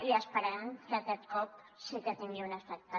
i esperem que aquest cop sí que tingui un efecte